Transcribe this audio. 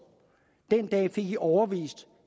fik i overbevist